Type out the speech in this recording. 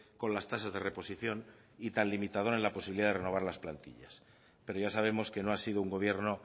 con las tasas de reposición y tan limitador en la posibilidad de renovar las plantillas pero ya sabemos que no ha sido un gobierno